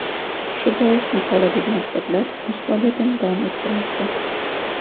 Shu bois maqoladagi maktablar o‘z faoliyatini davom ettirmoqda.